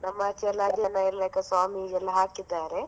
ನಮ್ಮ ಆಚೆಯಲ್ಲ ಆ ಜನ ಎಲ್ಲಾ ಸ್ವಾಮಿಯೆಲ್ಲ ಹಾಕಿದ್ದಾರೆ.